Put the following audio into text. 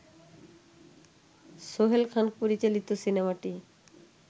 সোহেল খান পরিচালিত সিনেমাটি